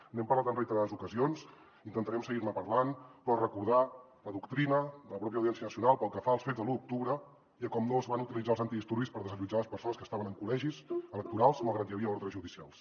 n’hem parlat en reiterades ocasions intentarem seguir ne parlant però recordar la doctrina de la pròpia audiència nacional pel que fa als fets de l’u d’octubre i a com no es van utilitzar els antidisturbis per desallotjar les persones que estaven en col·legis electorals malgrat que hi havia ordres judicials